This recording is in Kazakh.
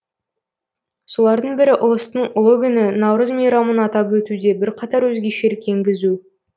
солардың бірі ұлыстың ұлы күні наурыз мейрамын атап өтуде бірқатар өзгешелік енгізу